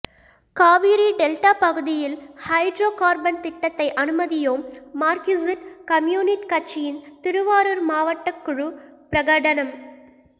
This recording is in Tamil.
காவிரி டெல்டா பகுதியில் ஹைட்ரோ கார்பன் திட்டத்தை அனுமதியோம் மார்க்சிஸ்ட் கம்யூனிட் கட்சியின் திருவாரூர் மாவட்டக்குழு பிரகடனம்